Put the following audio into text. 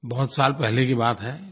बहुत साल पहले की बात है